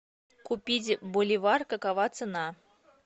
купить боливар какова цена